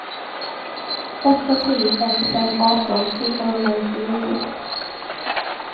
åtta tre ett fem arton fyrahundranittionio